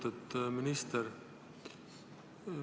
Lugupeetud minister!